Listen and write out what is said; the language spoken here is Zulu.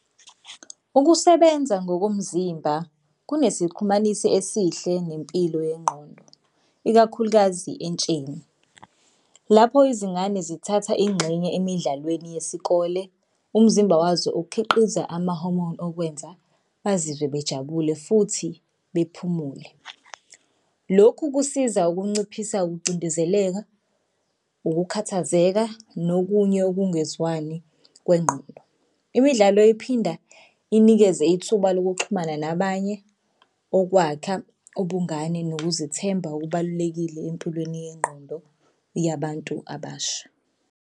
Ukusebenza ngokomzimba kunesixhumanisi esihle nempilo yengqondo, ikakhulukazi entsheni lapho izingane zithatha ingxenye emidlalweni yesikole. Umzimba wazo ukukhiqiza amahomoni okwenza bazizwe bejabule futhi bephumule. Lokhu kusiza ukunciphisa ukucindezeleka, ukukhathazeka, nokunye okungezwani kwengqondo. Imidlalo iphinda inikeze ithuba lokuxhumana nabanye okwakha ubungane nokuzithemba okubalulekile empilweni yengqondo yabantu abasha.